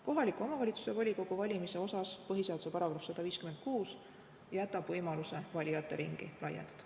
Kohaliku omavalitsuse volikogu valimise puhul jätab põhiseaduse § 156 võimaluse valijate ringi laiendada.